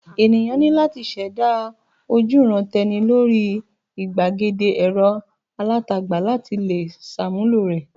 Ènìyàn ní láti ṣẹ̀dá ojúuran-tẹni lórí ìgbàgede ẹ̀rọ alátagbà láti le ṣàmúlò rẹ̀.